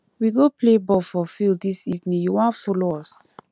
we go play ball for field dis evening you wan folo us